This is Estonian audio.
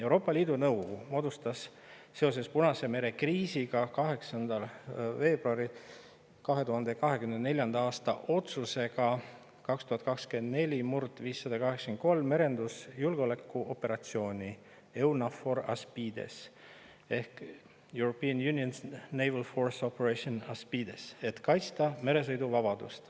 Euroopa Liidu Nõukogu algatas seoses Punase mere kriisiga 8. veebruari 2024. aasta otsusega 2024/583 merendusjulgeolekuoperatsiooni EUNAVFOR ASPIDES ehk European Union’s Naval Force Operation ASPIDES, et kaitsta meresõiduvabadust.